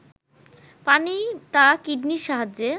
পানি তা কিডনির সাহায্যে